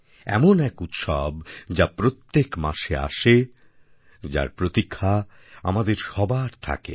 এমন এক উৎসব যা প্রত্যেক মাসে আসে যার প্রতীক্ষা আমাদের সবার থাকে